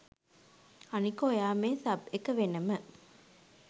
අනික ඔයා මේ සබ් එක වෙනම